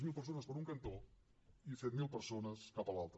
zero persones per un cantó i set mil persones cap a l’altre